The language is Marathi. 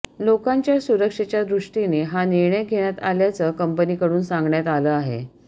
लोकांच्या सुरक्षेच्यादृष्टीने हा निर्णय घेण्यात आल्याचं कंपनीकडून सांगण्यात आलं आहे